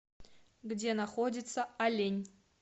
где находится олень